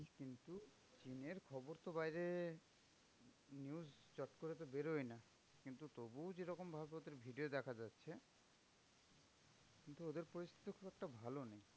কিন্তু দিনের খবর তো বাইরে news চটকরে তো আর বেরোয়না। কিন্তু তবুও যেরকম ভাবে ওদের video দেখা যাচ্ছে, কিন্তু ওদের পরিস্থিতিও খুব একটা ভালো নয়।